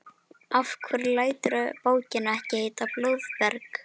Af hverju læturðu bókina ekki heita Blóðberg?